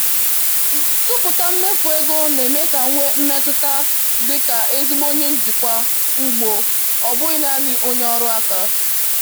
tụpụta mmefu ego na-eme ka m nwee mmetụta dị ka ezigbo onye njikwa ugbo, ọ bụghị naanị onye ọrụ aka